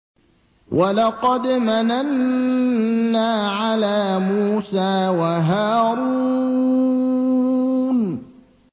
وَلَقَدْ مَنَنَّا عَلَىٰ مُوسَىٰ وَهَارُونَ